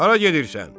Hara gedirsən?